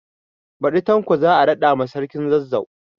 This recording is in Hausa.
Baɗi Tanko za a raɗa ma sarkin Zazzau